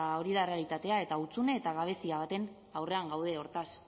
hori da errealitatea eta hutsune eta gabezia baten aurrean gaude hortaz